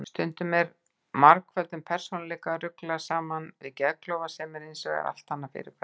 Stundum er margföldum persónuleika ruglað saman við geðklofa sem er hins vegar allt annað fyrirbæri.